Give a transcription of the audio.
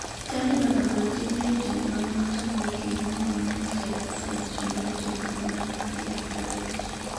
Taliban ogolo chik ne jotend lweny matamogi kendo mon mang'eny tarik 15 dwe mar achiel higa mar 2021